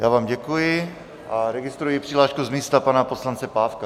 Já vám děkuji a registruji přihlášku z místa pana poslance Pávka.